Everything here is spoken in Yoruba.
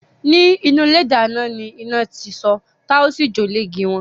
Nínú ilé idáná ni iná ti so tá ósì jó iée igi won.